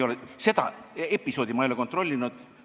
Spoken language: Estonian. Aga seda episoodi ei ole ma kontrollinud.